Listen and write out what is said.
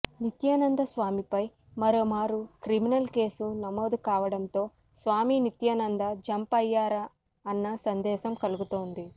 నిత్యానంద స్వామిపై మరోమారు criminal case నమోదు కావడంతో స్వామి నిత్యానంద జంప్ అయ్యారా అన్న సందేహం కలుగుతోంది